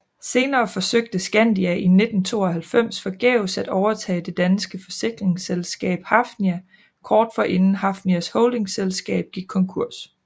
Senere forsøgte Skandia i 1992 forgæves at overtage det danske forsikringsselskab Hafnia kort forinden Hafnias holdingselskab gik konkurs